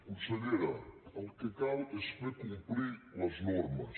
consellera el que cal és fer complir les normes